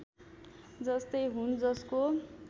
जस्तै हुन् जसको